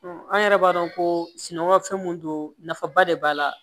an yɛrɛ b'a dɔn ko sunɔgɔ fɛn mun do nafaba de b'a la